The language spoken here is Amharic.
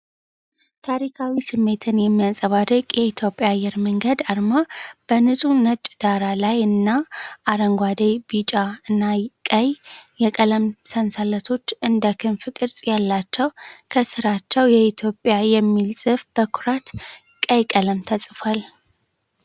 ታሪካዊ ስሜትን የሚያንጸባርቅ የኢትዮጵያ አየር መንገድ አርማ በንጹህ ነጭ ዳራ ላይ እና፣ አረንጓዴ፣ ቢጫ እና ቀይ የቀለም ሰንሰለቶች እንደ ክንፍ ቅርጽ ያላቸው፣ ከሥራቸው "የኢትዮጵያ" የሚል ጽሑፍ በኩራት ቀይ ቀለም ተጽፏል።